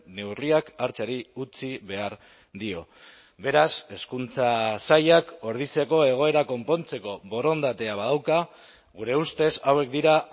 neurriak hartzeari utzi behar dio beraz hezkuntza sailak ordiziako egoera konpontzeko borondatea badauka gure ustez hauek dira